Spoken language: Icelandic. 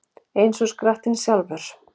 Eins og skrattinn sjálfur